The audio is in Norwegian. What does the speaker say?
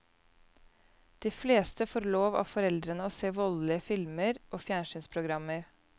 De fleste får lov av foreldrene å se voldelige filmer og fjernsynsprogrammer.